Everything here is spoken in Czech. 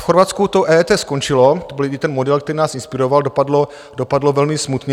V Chorvatsku to EET skončilo, to byl i ten model, který nás inspiroval, dopadlo velmi smutně.